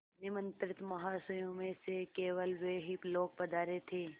निमंत्रित महाशयों में से केवल वे ही लोग पधारे थे